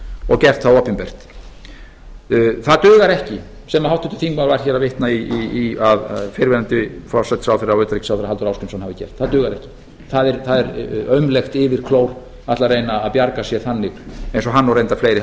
og gert það opinbert það dugar ekki sem háttvirtur þingmaður var hér að vitna í að fyrrverandi forsætisráðherra og utanríkisráðherra halldór ásgrímsson hafi gert það dugar ekki það er aumlegt yfirklór að ætla að reyna að bjarga sér þannig eins og hann og reyndar fleiri